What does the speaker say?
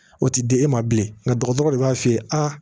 O tɛ di e ma bilen nka dɔgɔtɔrɔ de b'a f'i ye a